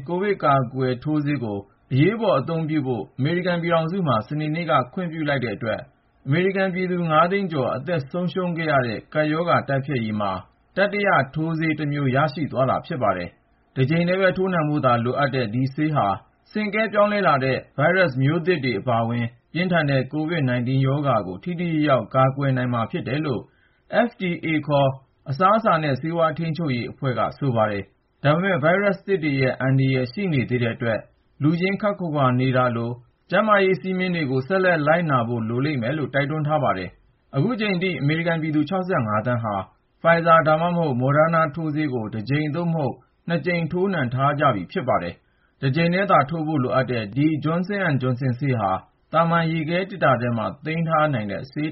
ကိုဗစ်ကာကွယ်ရေးထိုးဆေးကို အရေးပေါ်အသုံးပြုဖို့ အမေရိကန်ပြည်ထောင်စုမှာ စနေနေ့က ခွင့်ပြု့လိုက်တာကြောင့် အမေရိကန်ပြည်သူ ၅ သိန်းကျော် အသက်ဆုံးရှုံးခဲ့ရတဲ့ ကပ်ရောဂါတိုက်ဖျက်ရေးအတွက် တတိယ ထိုးဆေးတမျိုး ရရှိသွားတာဖြစ်ပါတယ်။ တကြိမ်ပဲ ထိုးနှံဖို့လိုတဲ့ ဒီထိုးဆေးဟာ ဆင့်ကဲပြောင်းလဲလာတဲ့ ဗိုင်းရပ်မျိုးသစ်တွေ အပါအဝင် ပြင်းထန်တဲ့ Covid-19 ရောဂါကို ထိထိရောက်ရောက် ကာကွယ်နိုင်မှာဖြစ်တယ်လို့ FDA ခေါ် အစားအစာနဲ့ ဆေးဝါးထိန်းချုပ်ရေးအဖွဲ့က ဆိုပါတယ်။ ဒါပေမဲ့ ဗိုင်းရပ်မျိုးသစ်တွေရဲ့အန္တရာယ် ရှိနေသေးတဲ့အတွက် လူချင်းခပ်ခွါခွါ နေရတာလို တားမြစ်ချက်တွေကိုတော့ ဆက်လက် လိုက်နာကြရလိမ့်မယ်လို့လည်း တိုက်တွန်းထားပါတယ်။ အခုအချိန်ထိ အမေရိကန်ပြည်သူ ၆၅ သန်းဟာ Pfizer ဒါမှမဟုတ် Moderna ထိုးဆေးကို တကြိမ် သို့မဟုတ် ၂ ကြိမ် ထိုးနှံထားကြပြီးဖြစ်ပါတယ်။ တကြိမ်သာ ထိုးနှံဖို့လိုတဲ့ ဒီ Johnson & Johnson ဆေးဟာ သာမန်ရေခဲသေတ္တာထဲမှာ သိမ်းဆည်းနိုင်တဲ့ ဆေး